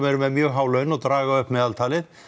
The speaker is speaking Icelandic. eru með mjög há laun og draga upp meðaltalið